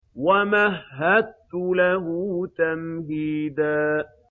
وَمَهَّدتُّ لَهُ تَمْهِيدًا